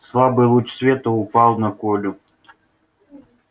слабый луч света упал на колю